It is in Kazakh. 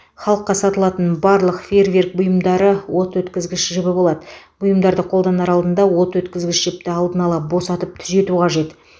халыққа сатылатын барлық фейерверк бұйымдары от өткізгіш жібі болады бұйымды қолданар алдында от өткізгіш жіпті алдын ала босатып түзету қажет